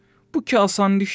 Bu ki asan işdir.